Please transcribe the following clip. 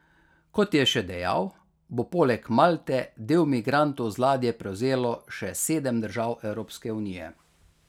Kot je še dejal, bo poleg Malte del migrantov z ladje prevzelo še sedem držav Evropske unije.